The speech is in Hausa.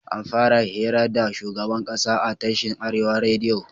Anfara hira da shugaban ƙasa a tashin arewa rediyo